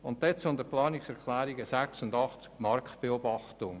Zu den Planungserklärungen 6 und 8 über die Marktbeobachtung: